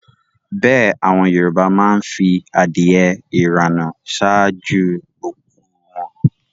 Bẹ́ẹ̀ àwọn Yorùbá má ń fi adìẹ ìrànà ṣáájú òkú u wọn